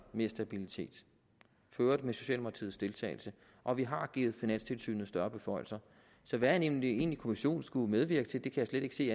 mere stabilitet for øvrigt med socialdemokratisk deltagelse og vi har givet finanstilsynet større beføjelser så hvad en egentlig kommission skulle medvirke til kan jeg slet ikke se